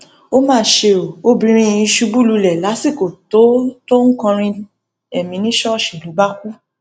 ó mà ṣe o obìnrin yìí ṣubú lulẹ lásìkò tó tó ń kọrin èmi ní ṣọọṣì ló bá kú